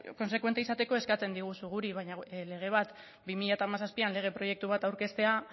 kontsekuente izateko eskatzen diguzu guri baina lege bat bi mila hamazazpian lege proiektu bat aurkeztea